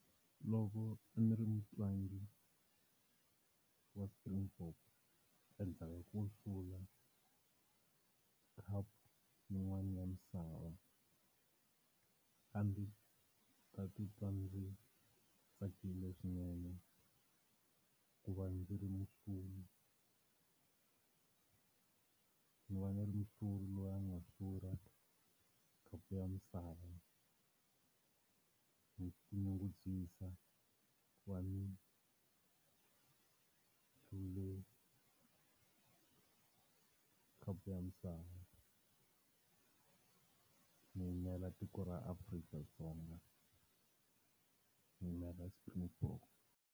Loko ndzi ri mutlangi wa Springboks endzhaku ka ku hlula khapu yin'wana ya misava, a ndzi ta titwa ndzi tsakile swinene ku va ndzi ri muhluri ni va ni ri muhluri loyi a nga hlula khapu ya misava. Ni ti nyungubyisa ku va ni hlule khapu ya misava ni yimela tiko ra Afrika-Dzonga, ni yimela Springboks.